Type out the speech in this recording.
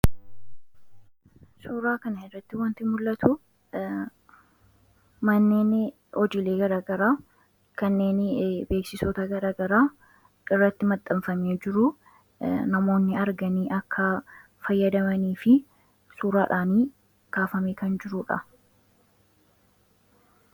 Suuraa kan irratti wanti mul'atu manneeni hojiilee garagaraa kanneeni beeksisota garagaraa irratti maxxanfamee jiruu namoonni arganii akka fayyadamanii fi suuraadhaanii kaafamee kan jiruudha.